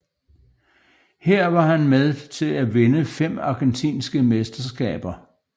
Her var han med til at vinde fem argentinske mesterskaber